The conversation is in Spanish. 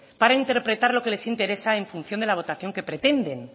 para interpretar lo que les interesa en función de la votación que pretenden